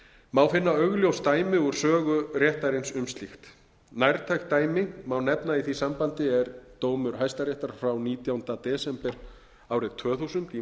má finna augljós dæmi úr sögu réttarins um slíkt nærtækt dæmi sem má nefna í því sambandi er dómur hæstaréttar frá nítjándu desember árið tvö þúsund í